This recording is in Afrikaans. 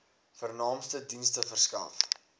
vernaamste dienste verskaf